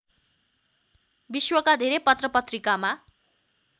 विश्वका धेरै पत्रपत्रिकामा